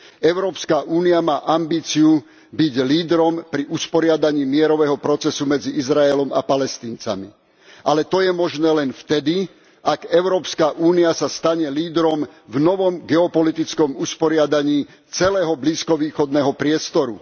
Európska únia má ambíciu byť lídrom pri usporiadaní mierového procesu medzi Izraelom a Palestíncami. Ale to je možné len vtedy, ak Európska únia sa stane lídrom v novom geopolitickom usporiadaní celého blízkovýchodného priestoru.